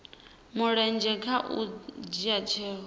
mulenzhe kha u dzhia tsheo